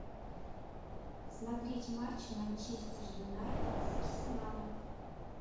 смотреть матч манчестер юнайтед с арсеналом